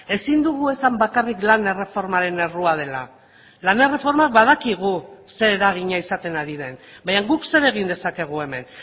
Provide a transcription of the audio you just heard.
ezin dugu esan bakarrik lan erreformaren errua dela lan erreforma badakigu zer eragina izaten ari den baina guk zer egin dezakegu hemen